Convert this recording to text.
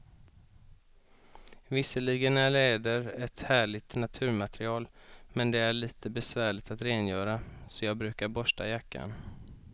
Visserligen är läder ett härligt naturmaterial, men det är lite besvärligt att rengöra, så jag brukar borsta jackan.